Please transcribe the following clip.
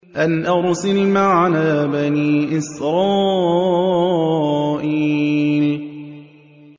أَنْ أَرْسِلْ مَعَنَا بَنِي إِسْرَائِيلَ